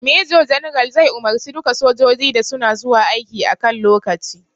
Major general zai umarce duka sojoji da suna zuwa aiki a kan lokaci